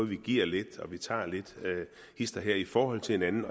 vi giver lidt og vi tager lidt hist og her i forhold til hinanden